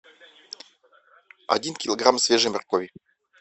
один килограмм свежей моркови